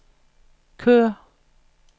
kør